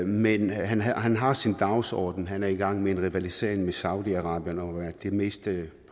men han har han har sin dagsorden han er i gang med en rivalisering med saudi arabien om at være det mest